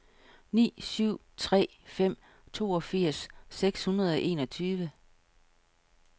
ni syv tre fem toogfirs seks hundrede og enogtyve